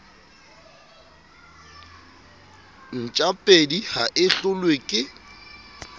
ntjapedi ha e hlolwe ke